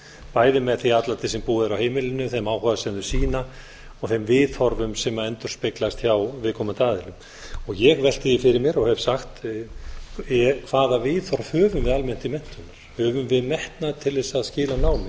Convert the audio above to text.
bæði með því atlæti sem búið er á heimilinu þeim áhuga sem þeir sýna og þeim viðhorfum sem endurspeglast hjá viðkomandi aðilum ég velti því fyrir mér og hef sagt hvaða viðhorf höfum að almennt til menntunar höfum við metnað til þess að skila námi